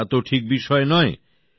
এটা তো ঠিক বিষয় নয়